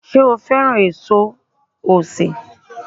Sé o fẹ́ràn èso osè